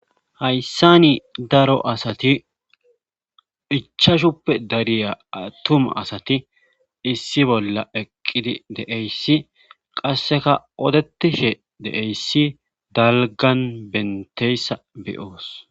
Hayssa ni daro asati ichashuppe dariya atuma asati issi bolla eqqidi deeyssi qasseka odetishe deeyssi dalgan benteyssa beyoos.